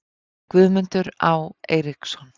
Guðmundur Á. Eiríksson